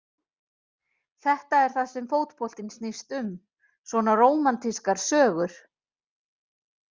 Þetta er það sem fótboltinn snýst um, svona rómantískar sögur.